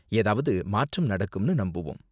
ஏதாவது மாற்றம் நடக்கும்னு நம்புவோம்.